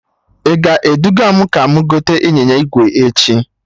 I ga-eduga m ka mụ gote ịnyịnya ígwè echi?